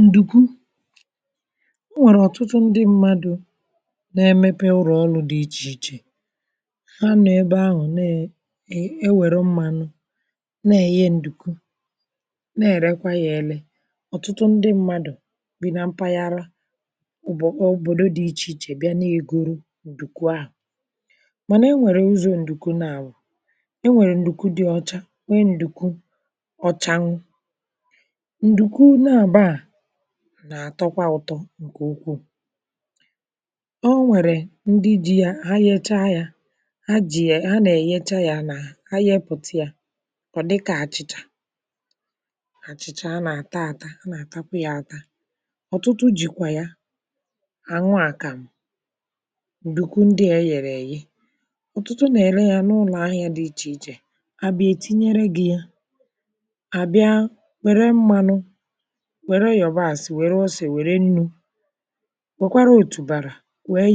N’ọ̀rụ̀ a, a kọ̀wara otú e si emepụta ǹdùgwu. Ọ̀tụtụ̀ ndị mmadụ̀ nà-eme ọrụ dị iche iche n’ịmepụta ǹdùgwu, ma ha na-arụ ọrụ dị mkpa n’ebe ahụ̀. E nwekwara ebe ndị mmadụ̀ nà-emepụta mmanụ, na-ewepụta ǹdùgwu, ma na-ere yà n’ahịa. N’ógbè dị iche iche, ụmụ nwoke na ụmụ nwanyị nà-aga ịkụ mkpụrụ nkwu, wepụta yà, ma gbanwee yà bụrụ mmanụ. Ma e nwekwara ụdị ǹdùgwu dị iche iche. E nwere ǹdùgwu dị ọcha, nke na-enwu enwu ma na-acha mma, ma e nwekwara ǹdùgwu ọ̀chà nà-ato ụtọ, nke dị arọ ma na-enwu uhie nke ọma. Ndị nà-emepụta ǹdùgwu na-etinye aka nke ọma, ha na-efecha yà, ma na-ehicha yà nke ọma. Mgbe ha mechara nke a, ha na-enweta mmanụ dị ọcha, nke dị mma iji sie nri ma ọ bụ. Ọ̀tụtụ̀ ndị mmadụ̀ na-eji ǹdùgwu esi nri dị iche iche, dịkà àkàmụ̀ na àchị̀chà (nri ji e gọtara n’ụka). Ụ́fọdụ na-eji yà esi nri ụlọ, ebe ụfọdụ na-eji yà esi nri n’ahịa. Iji esi nri na ǹdùgwu, ị̀ nwere ike itinye obere mmanụ n’ìmè ite,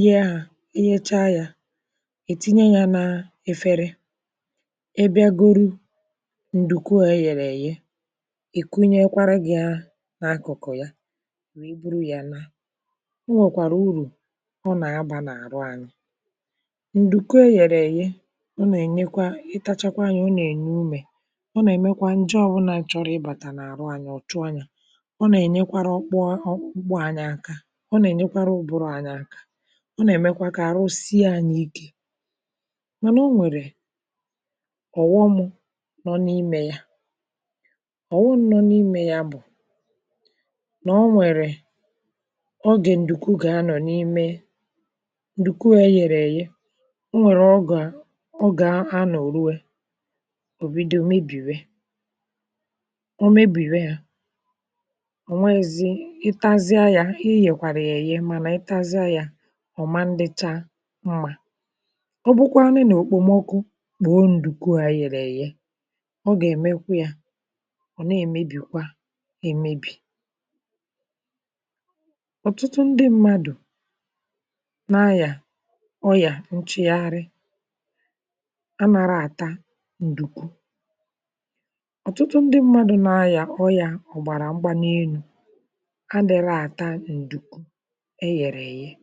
tinye nnu, ose, yabasị, na akwukwo nri, mee yà ka ọ dị ọkụ nwayọ. Mgbe ọ dị njikere, i nwekwara ike isaa efere, tinye yà, rie yà n’udo. Ǹdùgwu nà-enye ọtụtụ uru. Ọ na-eme ka àrụ dị ike, na-enyé mmadụ̀ ume, ma na-enyekwara anya ahụ́ ike. Ọ na-enyekwa ụbụrụ aka, ma na-eme ka ahụ mmadụ̀ dị ọkụ na ume. Mànà, e nwekwara ọ̀ghọm ndị ǹdùgwu nwere. Mgbe e debere yà ogologo oge, ọ nwere ike ịmalite imebi̇ ma ọ bụ ghọọ asọ. Ọ bụrụ nà e debere yà n’okpomọkụ ogologo oge, ọ nwere ike ịgbanwe agba ma ọ bụ mee ka isi yà gbanwee. Iji gbochie nke a, ǹdùgwu kwesịrị ị̀dọbà yà nke ọma n’ebe dị jụụ, nke dị ọcha, ma ghara ịbụ ebe ọkụ na-abụkarị. Ọ bụrụ nà e chekwara yà nke ọma, ọ gà-anọ ogologo oge n’enweghị nsogbu. N’agbanyeghị na ǹdùgwu nwere ike imebi̇ um ma ọ bụrụ nà e debere yà n’ụzọ na-adịghị mma, ọ ka bụ otu n’ime ihe kachasị mkpa n’obodo anyị. Ọ̀tụtụ̀ ndị mmadụ̀ nà-eji yà esi nri, ebe ụfọdụ na-eji yà n’ihe ọdịnala ma ọ bụ n’ihe gbasara ahụ ike.